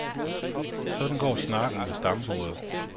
Sådan går snakken ved stambordet.